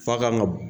F'a kan ga